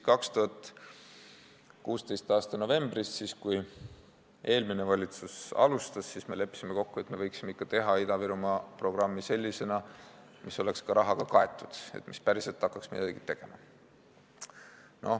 2016. aasta novembris, kui eelmine valitsus alustas, me leppisime kokku, et me võiksime ikka teha Ida-Virumaa programmi sellisena, mis oleks ka rahaga kaetud, et päriselt hakkaks midagi toimuma.